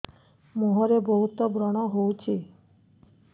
ମୁଁହରେ ବହୁତ ବ୍ରଣ ହଉଛି